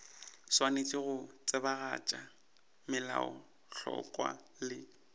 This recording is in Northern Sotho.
swanetše go tsebagatša melaotlhakwa le